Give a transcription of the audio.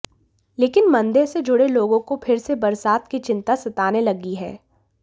लेकिन मंदिर से जुड़े लोगों को फिर से बरसात की चिंता सताने लगी है